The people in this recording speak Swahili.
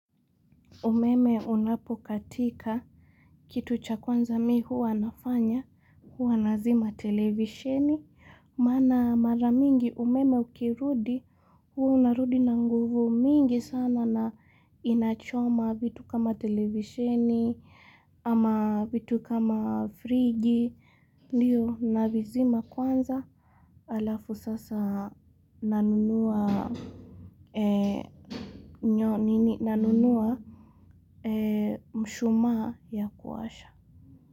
Umeme unapokatika kitu cha kwanza mi hua nafanya hua nazima televisheni maana mara mingi umeme ukirudi hua narudi na nguvu mingi sana na inachoma vitu kama televisheni ama vitu kama friji ndiyo navizima kwanza alafu sasa nanunua Nyo nini nanunuwa mshuma ya kuasha.